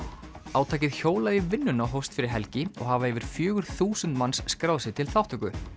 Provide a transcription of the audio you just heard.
átakið hjólað í vinnuna hófst fyrir helgin og hafa yfir fjögur þúsund manns skráð sig til þátttöku